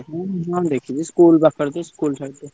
ହଁ ହଁ ଦେଖିଛି ତ ସ୍କୁଲ ପାଖ ସ୍କୁଲ side ରେ।